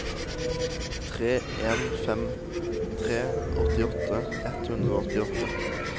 tre en fem tre åttiåtte ett hundre og åttiåtte